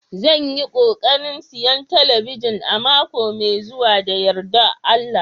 Zan yi kokarin siyan talabijin a mako mai zuwa da yardar Allah